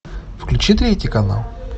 включи третий канал